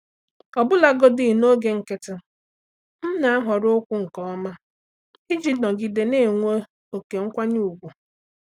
Ọbụlagodi n’oge nkịtị, m na-ahọrọ okwu nke ọma iji nọgide na-enwe ókè nkwanye ùgwù.